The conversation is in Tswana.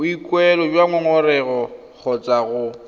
boikuelo jwa ngongorego kgotsa go